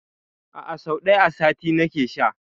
A'a, sau ɗaya a sati nake sha.